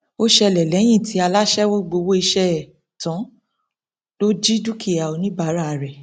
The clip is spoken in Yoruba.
ó ṣẹlẹ lẹyìn tí aláṣẹwọ gbowó iṣẹ ẹ tán ló jí dúkìá oníbàárà rẹ